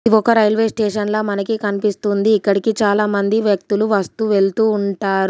ఒక railway station లా మనకి కన్పిస్తుంది ఇక్కడికి చాలామంది వ్యక్తులు వస్తూ వెళ్తూ ఉంటార్.